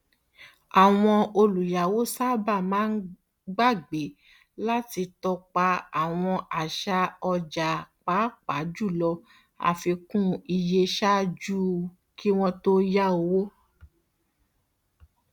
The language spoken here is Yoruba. àwọn olùyàwó sábà máa gbàgbé láti tọpa àwọn àṣà ọjà pàápàá jùlọ àfikún iye ṣáájú kí wọn tó yá owó